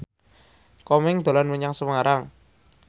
Komeng dolan menyang Semarang